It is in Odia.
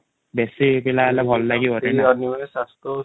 ବେଶୀ ପିଲା ହେଲେ ଭଲ ଲାଗିବ